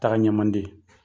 Taga ɲɛ ma di.